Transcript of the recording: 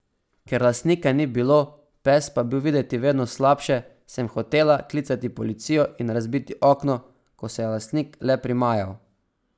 Ker lastnika ni bilo, pes pa je bil videti vedno slabše, sem hotela klicati policijo in razbiti okno, ko se je lastnik le primajal.